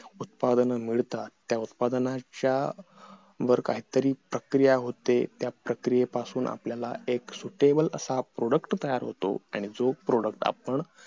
उत्पादन मिळतात त्या उत्पादनाच्या वर काही तरी प्रक्रिया होते त्या प्रक्रियेपासून काही तरी आपल्याला suitable असा product तयार होतो आणि जो product आपण